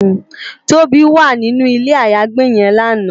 Tobi wá ninú ilé àyágbé yèn làná